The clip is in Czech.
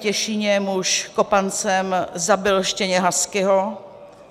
Těšíně muž kopancem zabil štěně huskyho.